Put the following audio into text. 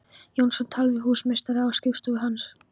Jónsson tal við húsameistara á skrifstofu hans.